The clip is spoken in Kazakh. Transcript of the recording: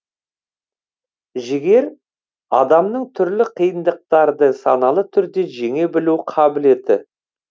жігер адамның түрлі қиындықтарды саналы түрде жеңе білу қабілеті